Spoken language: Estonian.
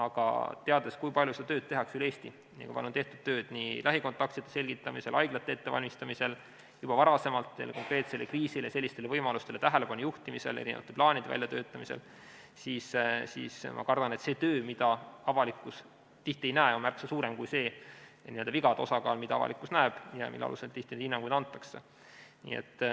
Aga teades, kui palju seda tööd tehakse üle Eesti ning kui palju on tehtud tööd nii lähikontaktsete selgitamisel, haiglate ettevalmistamisel, juba varem sellele konkreetsele kriisile ja sellistele võimalustele tähelepanu juhtimisel, plaanide väljatöötamisel, siis ma kardan, et see töö, mida avalikkus tihti ei näe, on märksa suurem kui see n-ö vigade osakaal, mida avalikkus näeb ja mille alusel tihti neid hinnanguid antakse.